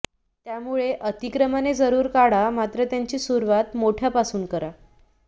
त्यामुळे अतिक्रमणे जरुर काढा मात्र त्याची सुरवात मोठ्यापासून करा